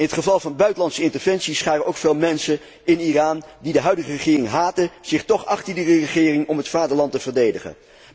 In het geval van buitenlandse interventies scharen ook veel mensen in Iran, die de huidige regering haten, zich tóch achter die regering om het vaderland te verdedigen.